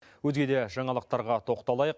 өзге де жаңалықтарға тоқталайық